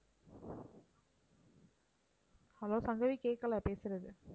hello Sangavi கேட்கல பேசுறது